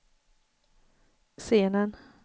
scenen